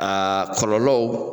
Aa kɔlɔlɔw